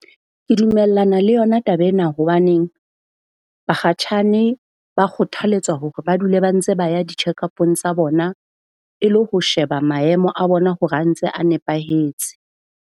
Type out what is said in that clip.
Ke dumellana le yona taba ena. Hobaneng bakgatjhane ba kgothaletswa hore ba dule ba ntse ba ya di-check-up-ng tsa bona e le ho sheba maemo a bona hore a ntse a nepahetse.